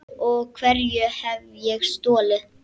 Og hverju hef ég stolið?